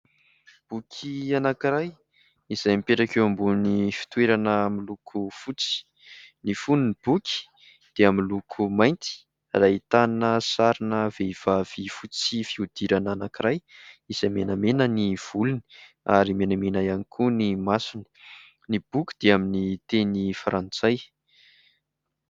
Boky anankiray izay mipetraka eo ambony fitoerana miloko fotsy. Ny foniny boky dia miloko mainty ahitana sarina vehivavy fotsy fiodirana anankiray. Izay menamena ny volony, ary menamena ihany koa ny masony. Ny boky dia amin'ny teny frantsay.